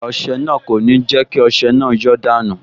Igbá ọsẹ náà kò ní jẹ́ kí ọsẹ náà yọ́ dànù